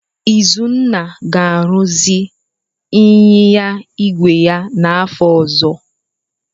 Izunna ga-arụzi ịnyịnya igwe ya n'afọ ọzọ.